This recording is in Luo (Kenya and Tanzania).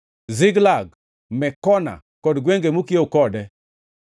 Ziklag, Mekona kod gwenge mokiewo kode,